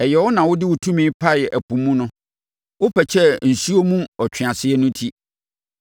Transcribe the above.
Ɛyɛ wo na wode wo tumi paee ɛpo mu no; wopɛkyɛɛ nsuo mu ɔtweaseɛ no ti.